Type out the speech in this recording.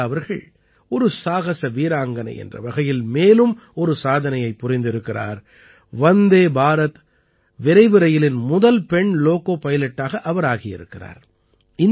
சுரேகா அவர்கள் ஒரு சாகஸ வீராங்கனை என்ற வகையில் மேலும் ஒரு சாதனையைப் புரிந்திருக்கிறார் வந்தே பாரத் விரைவு ரயிலின் முதல் பெண் லோகோ பைலட்டாக அவர் ஆகி இருக்கிறார்